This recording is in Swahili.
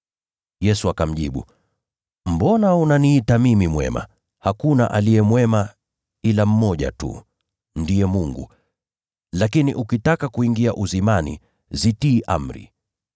Yesu akamjibu, “Mbona unaniuliza habari ya mema? Aliye mwema ni Mmoja tu. Lakini ukitaka kuingia uzimani, zitii amri.”